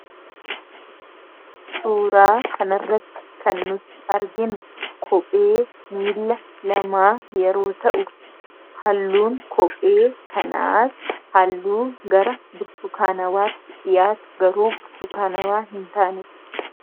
Suuraa kana irratti kan nuti arginu kophee mila lamaa yeroo ta'u halluun kophee kanaas halluu gara burtukaanawaatti dhiyaatu garuu burtukaanawaa hintaanedha.